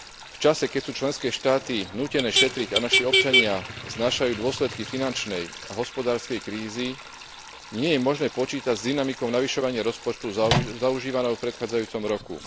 V čase, keď sú členské štáty nútené šetriť a naši občania znášajú dôsledky finančnej a hospodárskej krízy, nie je možné počítať s dynamikou zvyšovania rozpočtu zaužívanou v predchádzajúcom roku.